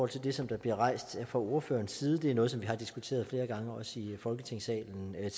til det som der bliver rejst fra ordførerens side det er noget som vi har diskuteret flere gange tidligere også i folketingssalen